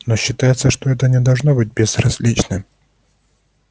но считается что это не должно быть безразлично